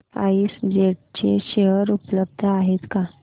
spice jet चे share उपलब्ध आहेत का